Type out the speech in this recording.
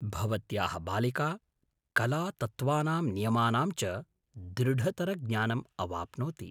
भवत्याः बालिका कलातत्त्वानां नियमानां च दृढतरज्ञानम् अवाप्नोति।